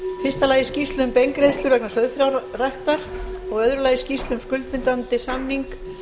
fyrsta skýrsla um beingreiðslur vegna sauðfjárræktar önnur skýrsla um skuldbindandi samning